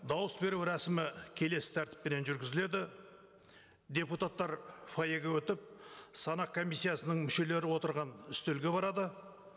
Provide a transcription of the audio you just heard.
дауыс беру рәсімі келесі тәртіппенен жүргізіледі депутаттар фойеге өтіп санақ комиссиясының мүшелері отырған үстелге барады